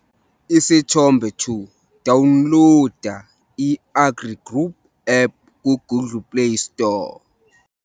Isithombe 2- Dawunloda i-AgriGroup app ku-Google Play Store.